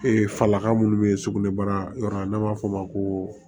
falaka minnu bɛ yen sugunɛbara yɔrɔ n'an b'a fɔ o ma ko